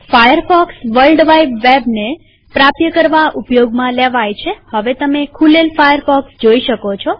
Firefox world wide વેબને પ્રાપ્ય કરવા ઉપયોગમાં લેવાય છેહવે તમે ખૂલેલ ફાયરફોક્સ જોઈ શકો છો